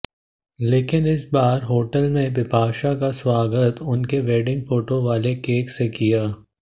लेकिन इस बार होटल ने बिपाशा का स्वागत उनके वेडिंग फोटो वाले केक से किया